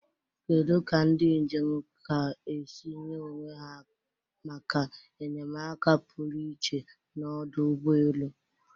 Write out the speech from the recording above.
Kedu ka ndị njem ka esi nye onwe ha maka enyemaka pụrụ iche n'ọdụ ụgbọ elu?